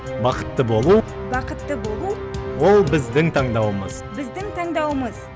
бақытты болу бақытты болу ол біздің таңдауымыз біздің таңдауымыз